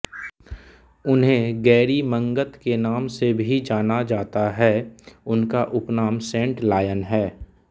उन्हें गैरी मंगत के नाम से भी जाना जाता है उनका उपनाम सेंट लायन है